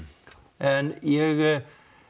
en ég